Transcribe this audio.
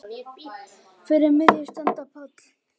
Fyrir miðju standa Páll